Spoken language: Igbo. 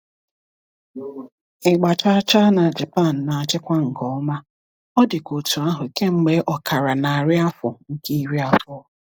Ịgba chaa chaa na Japan na-achịkwa nke ọma, ọ dịkwa otú ahụ kemgbe ọkara narị afọ nke iri abụọ.